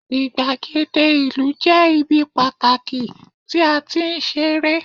igbagede ìlú je ibi pataki ti a ti n sere